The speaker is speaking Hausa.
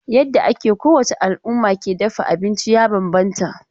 Yadda ake kowace al'umma ke dafa abinci ya bambanta.